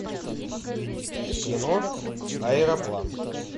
кино аэроплан